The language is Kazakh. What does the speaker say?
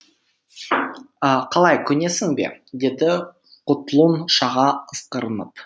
қалай көнесің бе деді құтлұн шаға ысқырынып